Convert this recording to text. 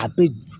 A bɛ